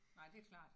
Nej det er klart